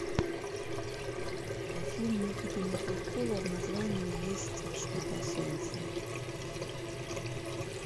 фильм никиты михалкова в названии есть что то о солнце